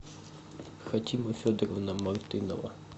хатима федоровна мартынова